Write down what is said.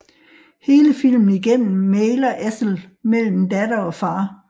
Hele filmen igennem mægler Ethel mellem datter og far